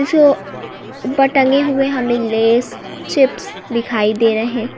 ऊपर टंगे हुए हमें लेस चिप्स दिखाई दे रहे--